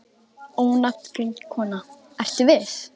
Ónafngreind kona: Ertu viss?